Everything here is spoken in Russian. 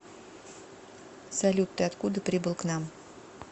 салют ты откуда прибыл к нам